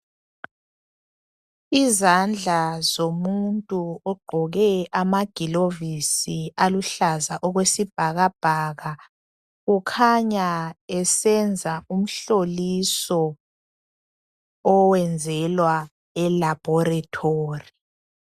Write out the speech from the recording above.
Izandla zomuntu ogqoke amagilovisi aluhlaza okwesibhakabhaka. Kukhanya esenza umhloliso oyenzelwa elabhorethori.